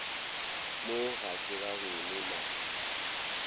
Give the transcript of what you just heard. mo ga se gageno na